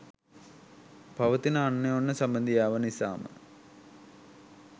පවතින අනෝන්‍ය සබැඳියාව නිසාම